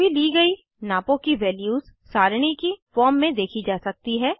सभी ली गयी नापों की वैल्यूज़ सारणी की फॉर्म में देखी जा सकती हैं